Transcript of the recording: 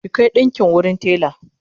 ki Kai ɗinƙin wurin tela!